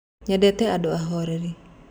Nyendete andũ ahoreri.